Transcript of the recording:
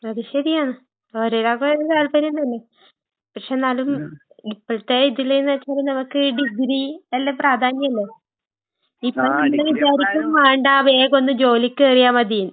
അത് ശെരിയാ. ഓരോരാൾക്കും ഓരോ താല്പര്യം തന്നെ. പക്ഷെന്നാലും ഇപ്പഴത്തെ ഇതില്ന്ന് വെച്ചാല് നമക്ക് ഡിഗ്രി നല്ല പ്രാധാന്യില്ലേ? ഇപ്പോ നിങ്ങള് വിചാരിക്കും വേണ്ടാ വേഗോന്ന് ജോലിക്കേറിയാ മതി.